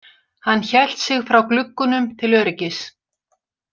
Hann hélt sig frá gluggunum til öryggis.